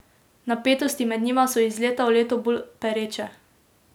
Napetosti med njima so iz leta v leto bolj pereče.